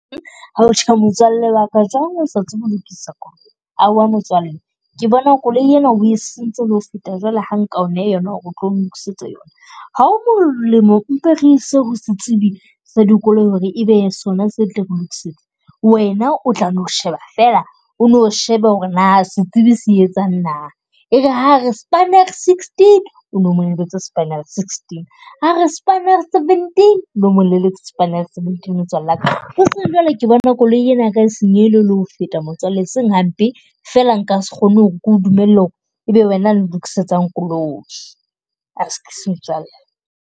Motswalle wa ka jwang o sa tsebe ho lokisa koloi, aowa motswalle ke bona koloi ena e sentse le ho feta jwale ha nka o neha yona. Ha ho molemo mpe re ise ho setsibi sa di koloi ho re ebe sona se tla re lokisetsa, wena o tla no sheba fela, o no shebe ho re na setsibi se etsang na. E re ha a re spanner sixteen, o no mo neletse spanner sixteen. Ha re spanner seventeen o no mo neletse spanner seventeen motswalle wa ka. O tsebe jwale ke bona koloi ena ya ka e senyehile le ho feta motswalle e seng hampe, fela nka se kgone ho re ke o dumella ho re ebe wena a nlokisetsang koloi. Askies motswalle.